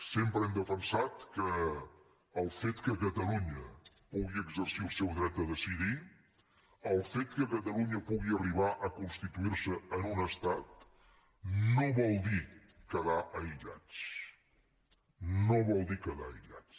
sempre hem defensat que el fet que catalunya pugui exercir el seu dret a decidir el fet que catalunya pugui arribar a constituir se en un estat no vol dir quedar aïllats no vol dir quedar aïllats